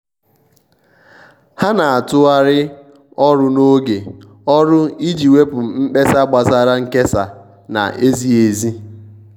ha na-atụgharị ọrụ n'oge ọrụ iji wepụ mkpesa gbasara nkesa na-ezighi ezi.